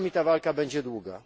Czasami ta walka będzie długa.